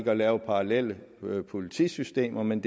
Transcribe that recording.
at lave parallelle politisystemer men